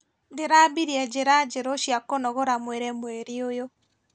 Ndĩrambirie njĩra njerũ cia kũnogora mwĩrĩ mweri ũyũ.